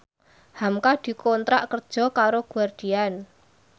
hamka dikontrak kerja karo Guardian